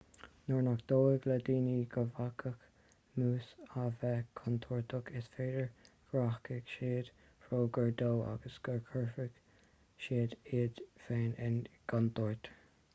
nuair nach dóigh le daoine go bhféadfadh mús a bheith contúirteach is féidir go rachaidh siad róghar dó agus go gcuirfidh siad iad féin i gcontúirt